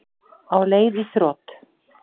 Á leið í þrot